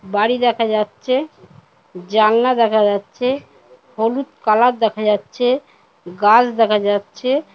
বাড়ি দেখা যাচ্ছে জানলা দেখা যাচ্ছে হলুদ কালার দেখা যাচ্ছে গাছ দেখা যাচ্ছে ।